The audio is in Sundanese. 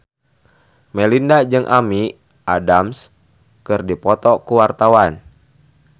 Melinda jeung Amy Adams keur dipoto ku wartawan